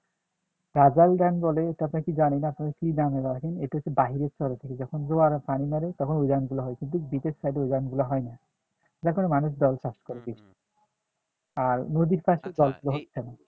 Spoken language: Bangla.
ধান বলে এটা হচ্ছে কি জানি না আপনাদের কি ধান এটা এটা হচ্ছে বাহিরের চরে থেকে যখন জোয়ারের পানি মারে তখন ঐ ধান গুলো হয় কিন্তু ভিতরের সাইটে ঐ ধান গুলো হয় না যার কারণে মানুষ দল চাষ করে কিছু আর নদীর পাশে জল থাকলে হচ্ছে না